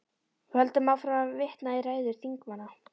Við höldum áfram að vitna í ræður þingmanna.